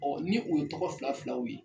ni o ye tɔgɔ fila filaw ye.